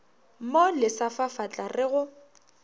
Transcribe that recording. mo lesa fafatla re go